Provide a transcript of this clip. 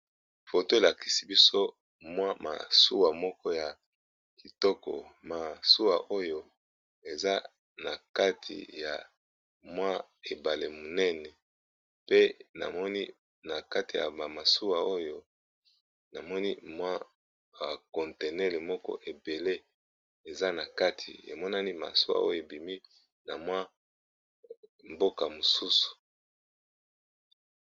Foto elakisi biso mwa masuwa moko ya kitoko, masuwa oyo eza na kati ya mwa ebale monene. Pe namoni na kati ya ba masuwa oyo namoni mwa ba contenaire moko ebele eza na kati, emonani masuwa oyo ebimi na mwa mboka mosusu.